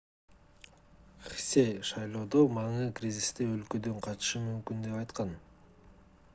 хсе шайлоодо маны кризисте өлкөдөн качышы мүмкүн деп айткан